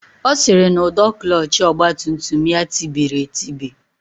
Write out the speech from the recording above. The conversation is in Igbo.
Ọ sịrị na ụdọ klọọchị ọgbatumtum ya tibiri etibi